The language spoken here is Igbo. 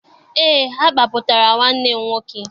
Eé, agbapụtara nwanne m nwoke.